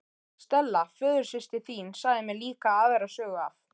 Stella föðursystir þín sagði mér líka aðra sögu af